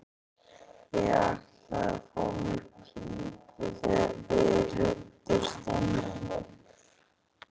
Ég ætlaði að fá mér í pípu þegar þið ruddust inn á mig.